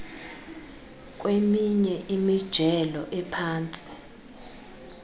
kweminye imijelo ephantsi